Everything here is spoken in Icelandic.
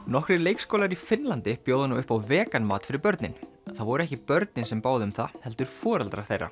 nokkrir leikskólar í Finnlandi bjóða nú upp á vegan mat fyrir börnin það voru ekki börnin sem báðu um það heldur foreldrar þeirra